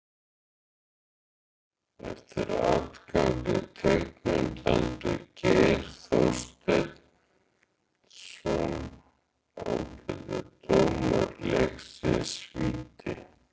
Eftir atgang í teignum dæmdi Geir Þorsteinsson, ágætur dómari leiksins, víti.